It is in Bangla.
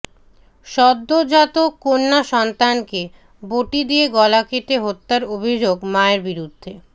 সদ্যোজাত কন্যাসন্তানকে বঁটি দিয়ে গলা কেটে হত্যার অভিযোগ মায়ের বিরুদ্ধে